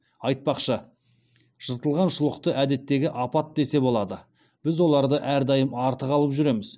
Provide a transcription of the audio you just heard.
айтпақшы жыртылған шұлықты әдеттегі апат десе болады біз оларды әрдайым артық алып жүреміз